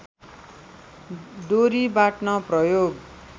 डोरी बाट्न प्रयोग